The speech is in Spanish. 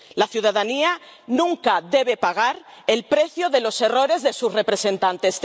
La ciudadanía nunca debe pagar el precio de los errores de sus representantes.